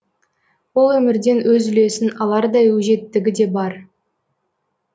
ол өмірден өз үлесін алардай өжеттігі де бар